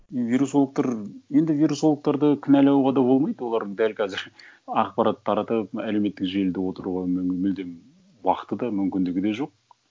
вирусологтар енді вирусологтарды кінәләуға да болмайды олар дәл қазір ақпарат таратып әлеуметтік желіде отыруға мүлдем уақыты да мүмкіндігі де жоқ